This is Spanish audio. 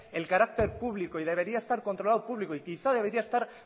el carácter público y debería estar controlado público y quizás debería estar